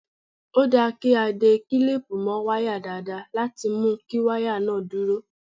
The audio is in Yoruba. Ó dáa kí a de kílípù mọ́ wáyà dáadáa láti mu kí wáyà náà dúró.